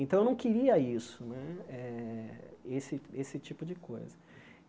Então, eu não queria isso né, eh esse esse tipo de coisa.